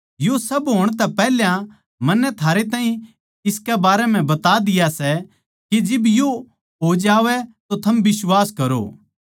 यो सब होण तै पैहल्या मन्नै थारै ताहीं इसके बारे म्ह बता दिया सै के जिब यो हो जावै तो थम बिश्वास करो